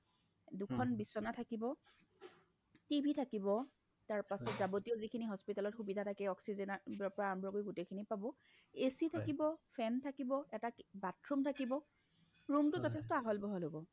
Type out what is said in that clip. দুখন বিচনা থাকিব tv থাকিব তাৰ পাছত যাৱ্তীয় যিখিনি hospitalত সুবিধা থাকে oxygen অৰ পৰা আৰম্ভ কৰি গোটেই খিনি পাব AC থাকিব, fan থাকিব এটা অ কি bathroom থাকিব room টো যথেষ্ঠ আহল বহল হ'ব।